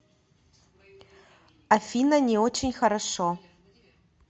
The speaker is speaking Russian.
афина не очень хорошо